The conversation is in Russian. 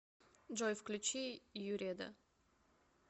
джой включи юреда